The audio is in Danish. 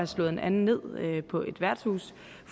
slået en anden ned på et værtshus